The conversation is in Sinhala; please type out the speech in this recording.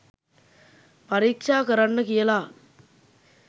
පරීක්ෂා කරන්න කියලා